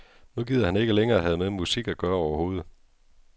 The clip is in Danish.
Nu gider han ikke længere have med musik at gøre overhovedet.